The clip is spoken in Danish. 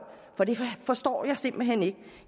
for det forstår jeg simpelt hen ikke